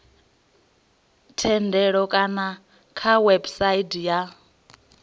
thendelo kana kha website ya